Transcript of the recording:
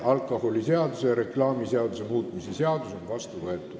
Alkoholiseaduse ja reklaamiseaduse muutmise seadus on vastu võetud.